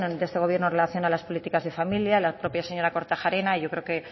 de este gobierno en relación a las políticas de familias la propia señora kortajarena yo creo que